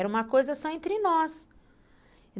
Era uma coisa só entre nós.